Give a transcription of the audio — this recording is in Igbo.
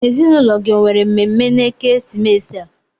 Ezinụlọ gị o nwere mmemme na-ekesimeesi a?